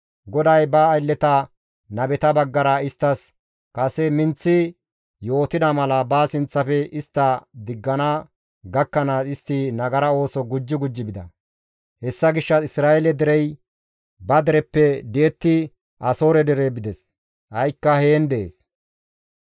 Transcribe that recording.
GODAY ba aylleta nabeta baggara isttas kase minththi yootida mala ba sinththafe istta diggana gakkanaas istti nagara ooso gujji gujji bida; hessa gishshas Isra7eele derey ba dereppe di7etti Asoore dere bides; ha7ikka heen dees.